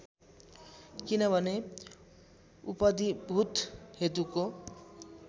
किनभने उपधिभूत हेतुको